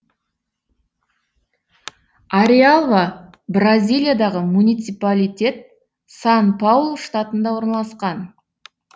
ареалва бразилиядағы муниципалитет сан паулу штатында орналасқан